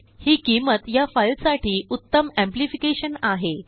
हि किंमत या फाईलसाठी उत्तम एम्प्लीफिकेशन आहे